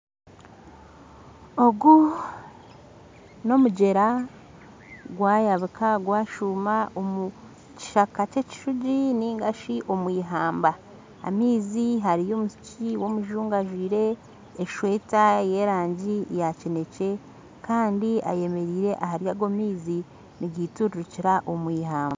Ogu n'omugyera gwayabika gwashuma omu kishaka kye kishugi nigashi omwihamba hamizi hariyo omwishiki w'omuzungu ajwire esweeta yerangi yakinekye Kandi ayemerire hariyago amaizi nigaiturukira omwihamba.